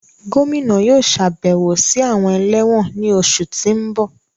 Gomina yóò ṣabẹwo si awọn ẹlẹwọn ni oṣu ti n bọ